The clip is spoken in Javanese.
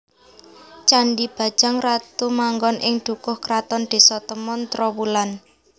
Candhi Bajang Ratu manggon ing Dukuh Kraton Désa Temon Trowulan